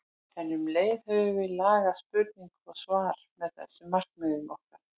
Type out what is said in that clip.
En um leið höfum við lagað spurningu og svar að þessum markmiðum okkar.